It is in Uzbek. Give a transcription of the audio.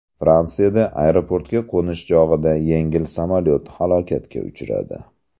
Fransiyada aeroportga qo‘nish chog‘ida yengil samolyot halokatga uchradi.